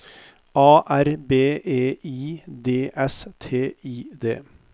A R B E I D S T I D